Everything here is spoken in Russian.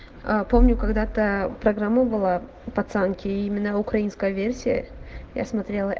аа помню когда-то программу было пацанки именно украинская версия я смотрела